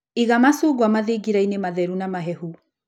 Iga macungwa mathingirainĩ matheru na mahehu.